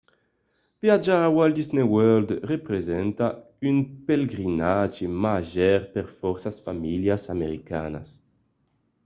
viatjar a walt disney world representa un pelegrinatge màger per fòrça familhas americanas